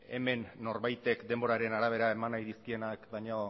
hemen norbaitek denboraren arabera eman nahi dizkienak baino